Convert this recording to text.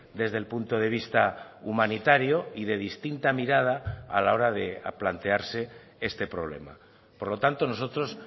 desde el punto de vista humanitario y de distinta mirada a la hora de plantearse este problema por lo tanto nosotros